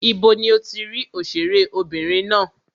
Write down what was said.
Ibo ni o ti rí òṣèré obìnrin ná?